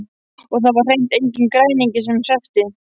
Og það var hreint enginn græningi sem hreppti.